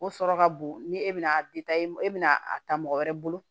O sɔrɔ ka bon ni e bɛna e bɛna a ta mɔgɔ wɛrɛ bolo